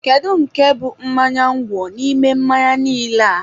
Kedu nke bụ mmanya ngwọ n'ime mmanya niile a?